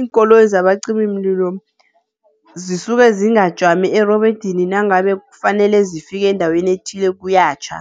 Iinkoloyi zabacimimlilo zisuke zingajami erobodini nangabe kufanele zifike endaweni ethile kuyatjha.